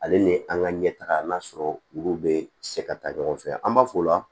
Ale ni an ka ɲɛtaga n'a sɔrɔ olu bɛ se ka taa ɲɔgɔn fɛ an b'a fɔ o la